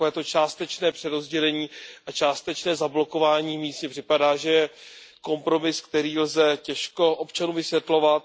Takovéto částečné přerozdělení a částečné zablokování míst mně připadá, že je kompromis, který lze těžko občanům vysvětlovat.